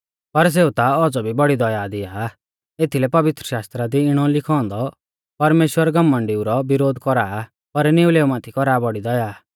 पर सेऊ ता औज़ौ भी बौड़ी दया दिया एथीलै पवित्रशास्त्रा दी इणौ लिखौ औन्दौ परमेश्‍वर घमण्डिऊ रौ विरोध कौरा आ पर निउलेऊ माथै कौरा आ बौड़ी दया